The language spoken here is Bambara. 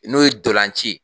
N'o ye dolanci ye.